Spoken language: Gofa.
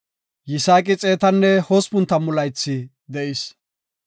Yisaaqi xeetanne hospun tammu laythi de7is.